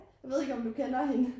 Jeg ved ikke om du kender hende